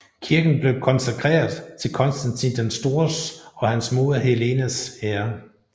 Kirken blev konsekreret til Konstantin den Stores og hans moder Helenas ære